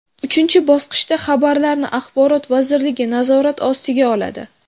Uchinchi bosqichda xabarlarni Axborot vazirligi nazorat ostiga oladi.